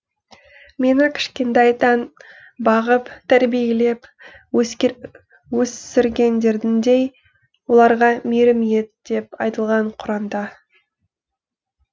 мені кішкентайдан бағып тәрбиелеп өсіргендеріндей оларға мейірім ет деп айтылған құранда